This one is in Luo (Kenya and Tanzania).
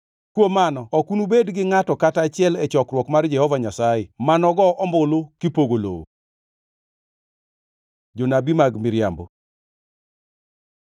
Kuom mano ok unubed gi ngʼato kata achiel e chokruok mar Jehova Nyasaye ma nogo ombulu kipogo lowo. Jonabi mag miriambo